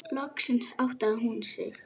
Loksins áttaði hún sig.